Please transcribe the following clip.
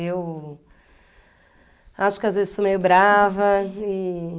Eu acho que às vezes sou meio brava. E...